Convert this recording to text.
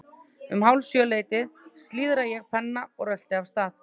Um hálf sjö leytið slíðra ég pennann og rölti af stað.